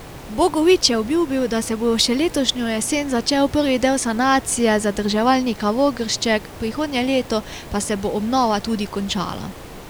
Bogovič je obljubil, da se bo še letošnjo jesen začel prvi del sanacije zadrževalnika Vogršček, prihodnje leto pa se bo obnova tudi končala.